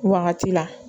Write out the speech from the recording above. Wagati la